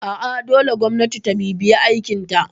A'a dole gwamnati ta bibiye aikinta